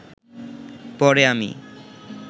পরে আমি